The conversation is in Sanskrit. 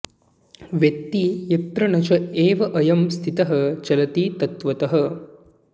वेत्ति यत्र न च एव अयम् स्थितः चलति तत्त्वतः